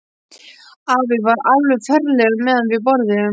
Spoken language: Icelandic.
Afi var alveg ferlegur meðan við borðuðum.